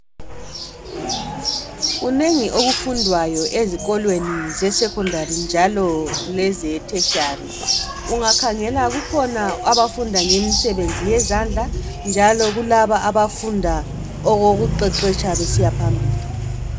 Kunengi okufundwayo ezikolweni zeSecondary njalo leze Tertiary. Ungakhangela kukhona abafunda ngemisebenzi yezandla njalo kulaba abafunda okuqeqetshwa besiya phambili.